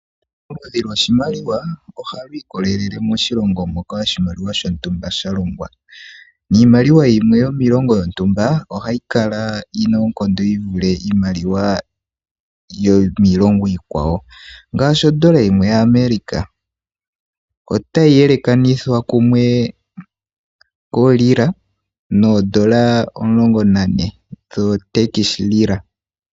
Ongushu lyoshimaliwa oha lu ikololele moshilongo moka oshimaliwa shontumba sha longwa, niimaliwa yimwe yomiilongo yontumba ohayi kala yina oonkondo yi vule iimaliwa yomiilongo iikwawo. Ngaashi ondola yimwe yaAmerika, otayi yelekanithwa kumwe kwerila noondola omulongo na ne dhoo tekishirila.